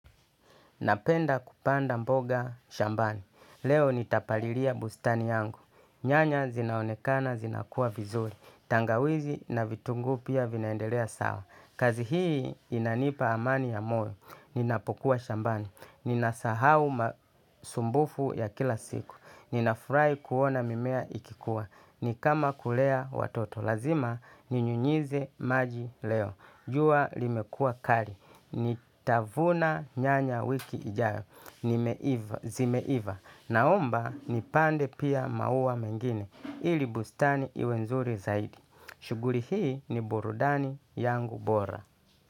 Napenda kupanda mboga shambani. Leo nitapalilia bustani yangu. Nyanya zinaonekana zinakua vizuri. Tangawizi na vitunguu pia vinaendelea sawa. Kazi hii inanipa amani ya moyo. Ninapokuwa shambani. Ninasahau masumbufu ya kila siku. Ninafurahi kuona mimea ikikuwa. Nikama kulea watoto. Lazima ninyunyize maji leo. Jua limekua kari. Ni tavuna nyanya wiki ijayo. Ni zimeiva. Na omba nipande pia maua mengine. Ili bustani iwe nzuri zaidi shuguli hii ni burudani yangu bora.